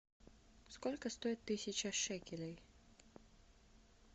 сколько стоит тысяча шекелей